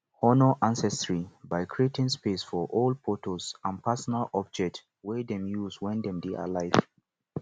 honor ancestry by creating space for old photos and personal objects wey dem use when dem dey alive